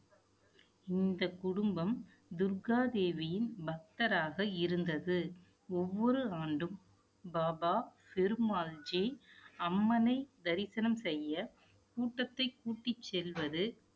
இந்தக் குடும்பம், துர்காதேவியின் பக்தராக இருந்தது. ஒவ்வொரு ஆண்டும், பாபா ஃபெரு மால்ஜி அம்மனை தரிசனம் செய்ய கூட்டத்தைக் கூட்டிச் செல்வது